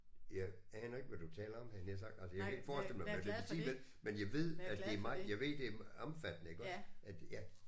Jeg aner ikke hvad du taler om havde jeg nær sagt altså jeg kan ikke forestille mig hvad det vil sige vel men jeg ved at det er meget jeg ved at det er omfattende iggås at ja